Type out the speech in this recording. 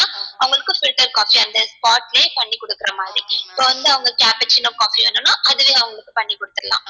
அவங்களுக்கு filter coffee அந்த spot லயே பண்ணி குடுக்குறமாதிரி இப்போ வந்து அவங்க cappuccino coffee வேணுனா அதுவே அவங்களுக்கு பண்ணி குடுத்துரலாம்